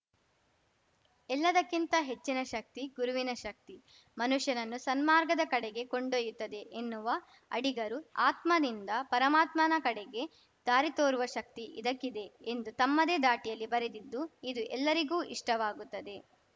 ಎಲ್ಲದಕ್ಕಿಂತ ಹೆಚ್ಚಿನಶಕ್ತಿ ಗುರುವಿನ ಶಕ್ತಿ ಮನುಷ್ಯನನ್ನು ಸನ್ಮಾರ್ಗದ ಕಡೆಗೆ ಕೊಂಡೊಯ್ಯುತ್ತದೆ ಎನ್ನುವ ಅಡಿಗರು ಆತ್ಮನಿಂದ ಪರಮಾತ್ಮನಕಡೆಗೆ ದಾರಿತೋರುವ ಶಕ್ತಿ ಇದಕ್ಕಿದೆ ಎಂದು ತಮ್ಮದೇ ಧಾಟಿಯಲ್ಲಿ ಬರೆದಿದ್ದು ಇದು ಎಲ್ಲರಿಗೂ ಇಷ್ಟವಾಗುತ್ತದೆ